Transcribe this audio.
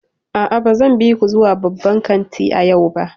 A'a, ba zan bi ku zuwa babban kanti a yau ba.